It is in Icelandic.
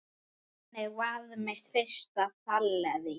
Þannig varð mitt fyrsta fyllerí